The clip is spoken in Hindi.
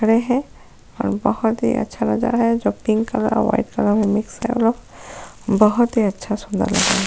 रहे हैं और बहुत ही अच्छा नज़ारा है जो पिंक कलर और व्हाइट कलर का मिक्स करके बहुत ही अच्छा सुंदर लग रहा है।